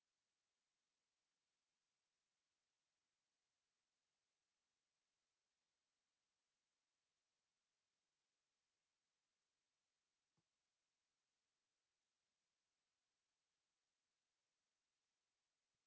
шетелдік жұмысшыларды тартатын компаниялар қазақстандықтардың құқығын сақтауы тиіс